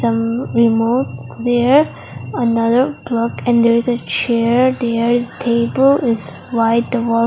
some remotes there another plug and there is a chair there table is white .